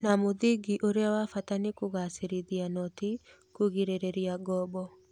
Na mũthingi ũrĩa wa Bata nĩ kũgacĩrithia noti kũgirĩrĩria ngombo